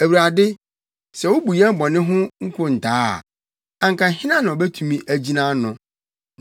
Awurade, sɛ wubu yɛn bɔne ho nkontaa a, anka hena na obetumi agyina ano?